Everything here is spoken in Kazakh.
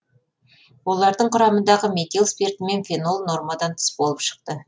олардың құрамындағы метил спирті мен фенол нормадан тыс болып шықты